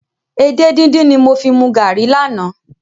Edé díndín ni mo fi mu garri lánàá.